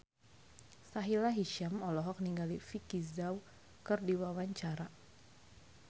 Sahila Hisyam olohok ningali Vicki Zao keur diwawancara